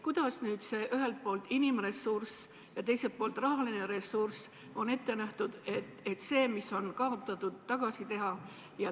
Kuidas ühelt poolt inimressurss ja teiselt poolt rahaline ressurss on ette nähtud, et see, mis on kaotatud, tasa teha?